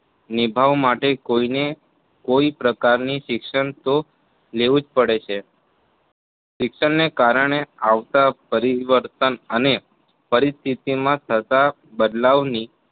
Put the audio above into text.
નિભાવ માટે કોઇને કોઇ પ્રકારનું શિક્ષણ તો લેવું જ પડે છે શિક્ષણને કારણે આવતા પરિવર્તન અને પરિસ્થિતિમાં થતા બદલાવની